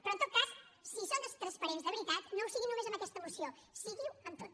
però en tot cas si són tan transparents de veritat no ho siguin només en aquesta moció siguin ho en tot